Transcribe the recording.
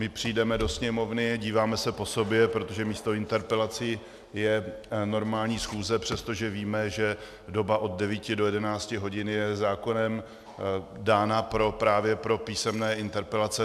My přijdeme do Sněmovny, díváme se po sobě, protože místo interpelací je normální schůze, přestože víme, že doba od 9 do 11 hodin je zákonem dána právě pro písemné interpelace.